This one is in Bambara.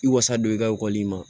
I wasa don i ka ekɔli ma